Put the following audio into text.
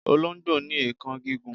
Olongbo ni eekan gigun